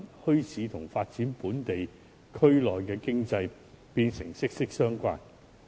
因此，墟市與本地區內經濟的發展變得息息相關。